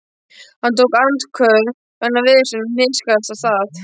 Hann tók andköf vegna veðursins og hnikaðist af stað.